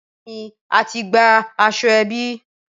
Bẹẹni ati gba aṣọ ẹbí